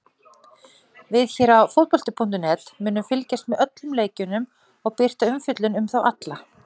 Við hér á fótbolti.net munum fylgjast með öllum leikjunum og birta umfjöllun um þá alla.